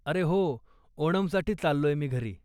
अरे हो, ओणमसाठी चाललोय मी घरी.